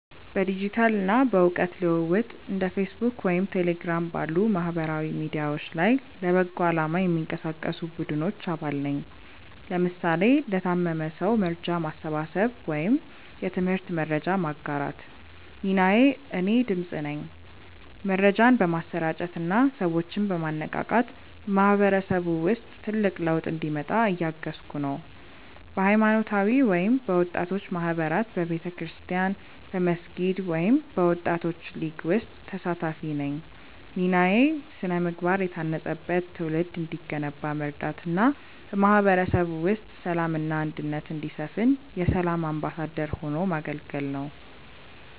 በዲጂታል እና በእውቀት ልውውጥ እንደ ፌስቡክ ወይም ቴሌግራም ባሉ ማህበራዊ ሚዲያዎች ላይ ለበጎ አላማ የሚንቀሳቀሱ ቡድኖች አባል ነኝ (ለምሳሌ ለታመመ ሰው መርጃ ማሰባሰብ ወይም የትምህርት መረጃ ማጋራት) ሚናዬ እኔ "ድምፅ" ነኝ። መረጃን በማሰራጨት እና ሰዎችን በማነቃቃት በማህበረሰቡ ውስጥ ትልቅ ለውጥ እንዲመጣ እያገዝኩ ነው። በሃይማኖታዊ ወይም በወጣቶች ማህበራት በቤተክርስቲያን፣ በመስጊድ ወይም በወጣቶች ሊግ ውስጥ ተሳታፊ ነኝ ሚናዬ ስነ-ምግባር የታነጸበት ትውልድ እንዲገነባ መርዳት እና በማህበረሰቡ ውስጥ ሰላም እና አንድነት እንዲሰፍን የ"ሰላም አምባሳደር" ሆኖ ማገልገል ነው